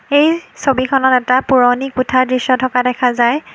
এই ছবিখনত এটা পুৰণি কোঠা দৃশ্য থকা দেখা যায়।